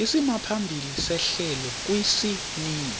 isimaphambili sehlelo kwisininzi